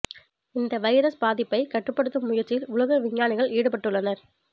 இந்த வைரஸ் பாதிப்பை கட்டுப்படுத்தும் முயற்சியில் உலக விஞ்ஞானிகள் ஈடுபட்டு உள்ளனர்